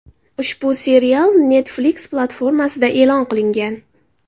Ushbu serial Netflix platformasida e’lon qilingan.